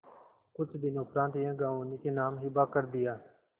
कुछ दिनों उपरांत यह गॉँव उन्हीं के नाम हिब्बा कर दिया